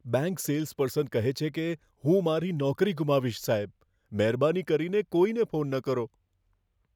Bank salesperson કહે છે કે, હું મારી નોકરી ગુમાવીશ, સાહેબ. મહેરબાની કરીને કોઈને ફોન ન કરો.